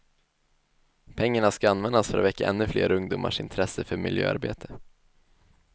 Pengarna ska användas för att väcka ännu fler ungdomars intresse för miljöarbete.